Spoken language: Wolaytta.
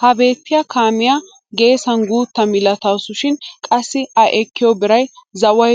Ha beettiyaa kaamiyaa geessan guutta milatawusu shin qassi a ekkiyo biray zaway